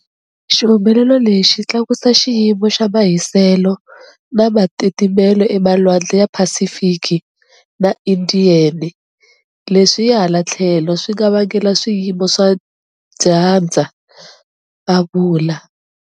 Xihumelelo lexi tlakusa xiyimo xa mahiselo na matitimelo emalwandle ya Pacific na Indian, leswi hi hala tlhelo swi nga vangela swiyimo swa dyandza, a vula.